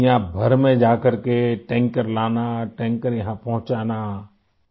دنیا بھر میں جاکر ٹینکر لانا ، ٹینکر یہاں پہنچانا